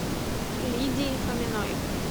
лидии фоминой